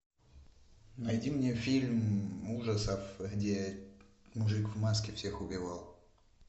найди мне фильм ужасов где мужик в маске всех убивал